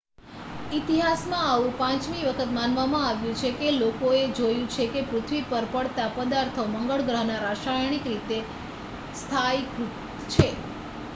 ઇતિહાસમાં આવું પાંચમી વખત માનવામાં આવ્યું છે કે લોકોએ જોયું છે કે પૃથ્વી પર પડતાં પદાર્થો તે મંગળ ગ્રહના રાસાયણિક રીતે સ્થાયીકૃત છે